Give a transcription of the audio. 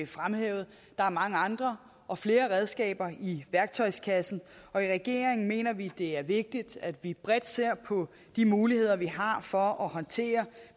fremhævet der er mange andre og flere redskaber i værktøjskassen og i regeringen mener vi det er vigtigt at vi bredt ser på de muligheder vi har for at håndtere